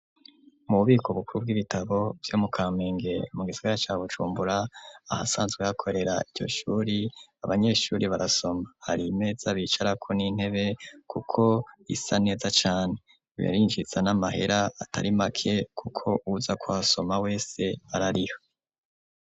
Mu bubiko bukuru bw'ibitabo vyo mu Kamenge mu gisagara ca Bujumbura, ahasabzwe hakorera iryo Shure, abanyeshure barasoma. Hari imeza bicarako n'intebe kuko zisa neza cane. Birinjiza n'amahera atari make, kuko uwuza kuhasoma wese arariha.